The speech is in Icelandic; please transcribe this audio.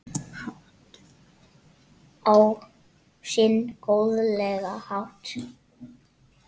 Á sinn góðlega hátt.